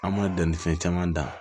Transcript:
An m'a dan ni fɛn caman dan